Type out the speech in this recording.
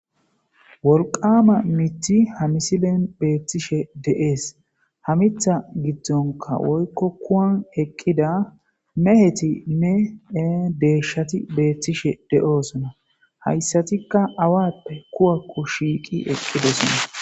wolqama mithi hamisilen beettishe de7ees hamitha giddonka woykko kuwan eqqida meheti nne e deeshati beettishe de7oosona hayssatikka awappe kuwakko shiiqi eqqidosona